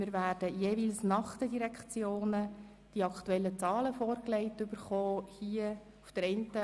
Wir werden jeweils von den Direktionen auch die aktuellen Zahlen vorgelegt bekommen.